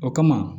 O kama